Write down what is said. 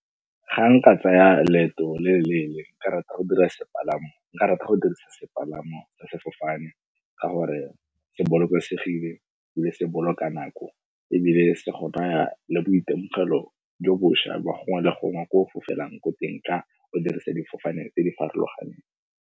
Ga nka tsaya leeto le le leele, nka rata go dirisa sepalamo sa sefofane ka gore se bolokesegile mme se boloka nako ebile se go naya le boitemogelo jo boša ba gongwe le gongwe ko o fofele yang ko teng ka o dirisa difofane tse di farologaneng.